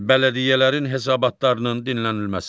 Bələdiyyələrin hesabatlarının dinlənilməsi.